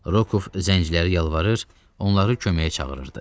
Rokov zəncirləri yalvarır, onları köməyə çağırırdı.